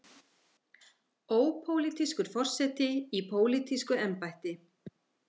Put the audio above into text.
Ópólitískur forseti í pólitísku embætti.